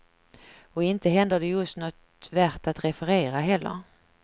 Och inte händer det just något värt att referera heller.